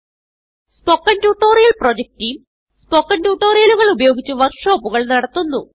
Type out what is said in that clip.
spoken tutorial project team spoken ട്യൂട്ടോറിയലുകൾ ഉപയോഗിച്ച് വർക്ക് ഷോപ്പുകൾ നടത്തുന്നു